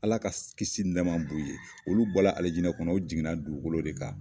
Ala ka kisi ni nama b'u ye, olu bɔra alijinɛ kɔnɔ, u jiginna dugukolo de ka.